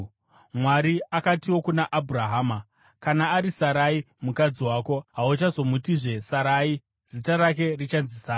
Mwari akatiwo kuna Abhurahama, “Kana ari Sarai mukadzi wako, hauchazomutizve Sarai; zita rake richanzi Sara.